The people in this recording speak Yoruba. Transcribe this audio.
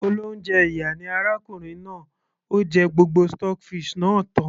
olóúnjẹ ìyà ni arákùnrin náà, ó jẹ gbogbo stockfish náà tan